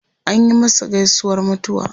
Anyi masa gaisuwar mutuwa.